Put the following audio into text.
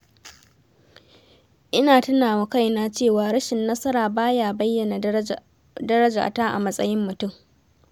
Ina tuna wa kaina cewa rashin nasara ba ya bayyana darajata a matsayin mutum.